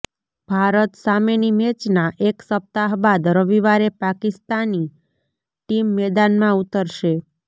ભારત સામેની મેચના એક સપ્તાહ બાદ રવિવારે પાકિસ્તાની ટીમ મેદાનમાં ઉતરશે